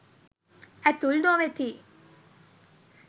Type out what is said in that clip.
ඇතුල් නොවෙති.